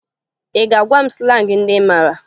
Ị ga-agwa m slangị ndị ị mara